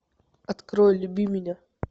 открой люби меня